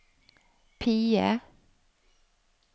PIE